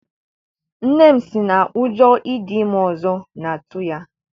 Nne m si na ụjọ ịdị ime ọzọ na-atụ ya.